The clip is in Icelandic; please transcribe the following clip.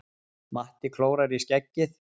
Matti klórar í skeggið.